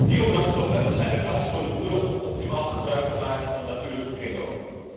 Biobrandstoffen zijn een kans voor de boeren om optimaal gebruik te maken van een natuurlijke kringloop.